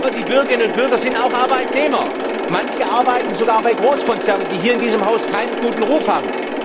Aber die Bürgerinnen und Bürger sind auch Arbeitnehmer manche arbeiten sogar bei Großkonzernen, die hier in diesem Haus keinen guten Ruf haben.